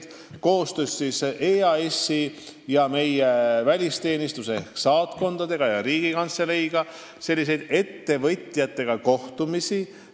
Ma olen koostöös EAS-iga, meie välisteenistuse ehk saatkondadega ja Riigikantseleiga ettevõtjatega kohtumisi teinud.